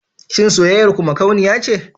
Shin soyayyar ku makauniya ce?